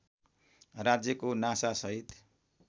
राज्यको नासा सहित